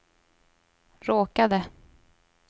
råkade